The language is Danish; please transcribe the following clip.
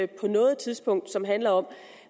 på noget tidspunkt som handler om